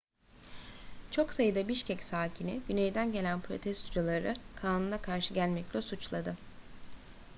çok sayıda bişkek sakini güneyden gelen protestocuları kanuna karşı gelmekle suçladı